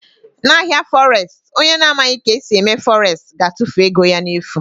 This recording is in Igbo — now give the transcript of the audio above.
Na ahịa fọres, onye na amaghị ka esi eme fọres ga-atụfu ego ya n'efu.